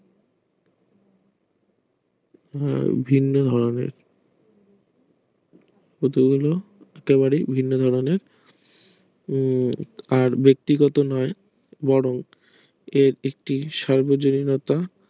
ভিন্ন ভাবে এটি হলো তৈরি ভিন্ন ধরণে উম আর ব্যাক্তিগত নয় বরং আর একটি সার্বজনীনতা